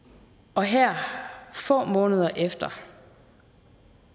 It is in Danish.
og her få måneder efter